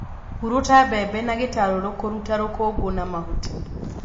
Hurũta mbembe na gĩtarũrũ kũruta rũkũngũ na mahuti